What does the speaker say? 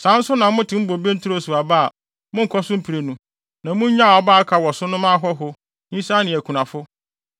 Saa nso na motew wo bobe nturo so aba a, monkɔ so mprenu; na monnyaw aba a aka wɔ so no mma ahɔho, nyisaa ne akunafo.